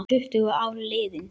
Tuttugu ár liðin.